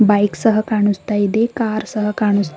bike ಸಹ ಕಾಣುಸ್ತಾ ಇದೆ ಕಾರ್ ಸಹ ಕಾಣುಸ್ತಾ--